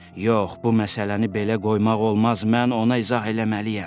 Yox, bu məsələni belə qoymaq olmaz, mən ona izah eləməliyəm.